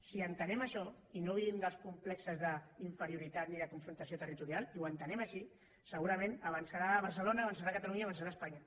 si entenem això i no vivim dels complexos d’inferioritat ni de confrontació territorial i ho entenem així segurament avançarà barcelona avançarà catalunya i avançarà espanya